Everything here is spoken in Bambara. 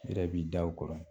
Yɛrɛ b'i da o kɔrɔ